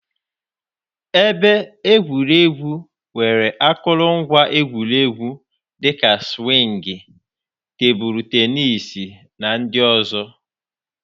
Ebe egwuregwu nwere akụrụngwa egwuregwu dị ka sụwingii, tebụl tenisii, na ndị ọzọ.